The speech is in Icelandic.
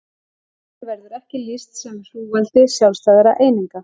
Málinu verður ekki lýst sem hrúgaldi sjálfstæðra eininga.